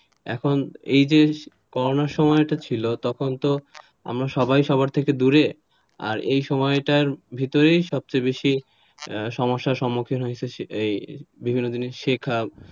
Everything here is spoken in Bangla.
এখন এইযে করোনার সময়টা ছিল তখন তো আমরা সবাই সবার থেকে দূরে আর এই সময়টার ভেতরেই সবচেয়ে বেশি সমস্যার সম্মুখীন হয়েছে, এই বিভিন্ন জিনিস শেখা,